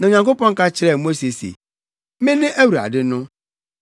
Na Onyankopɔn ka kyerɛɛ Mose se, “Mene Awurade no.